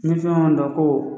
Ni fɛn dɔ ko